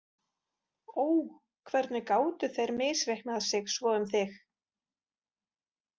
Ó, hvernig gátu þeir misreiknað sig svo um þig?